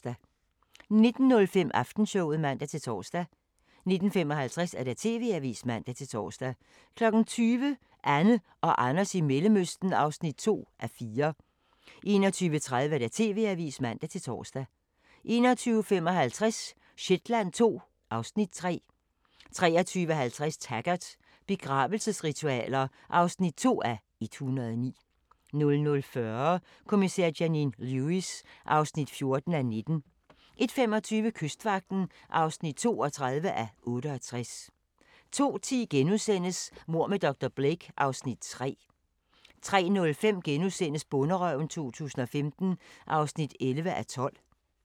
19:05: Aftenshowet (man-tor) 19:55: TV-avisen (man-tor) 20:00: Anne og Anders i Mellemøsten (2:4) 21:30: TV-avisen (man-tor) 21:55: Shetland II (Afs. 3) 23:50: Taggart: Begravelsesritualer (2:109) 00:40: Kommissær Janine Lewis (14:19) 01:25: Kystvagten (32:68) 02:10: Mord med dr. Blake (Afs. 3)* 03:05: Bonderøven 2015 (11:12)*